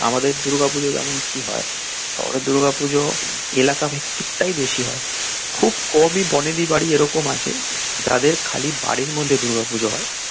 আমাদের দূর্গা পুজো যেমন কি হয়, শহরের দূর্গা পুজো এলাকা ভিত্তিক টাই বেশি হয় খুব কমই বনেদি বাড়ি এরকম আছে যাদের খালি বাড়ির মধ্যে দূর্গা পুজো হয়.